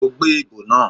Ó gbé ìbo náà